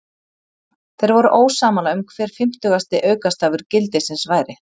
Þeir voru ósammála um hver fimmtugasti aukastafur gildisins væri.